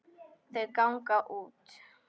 Þau ganga út.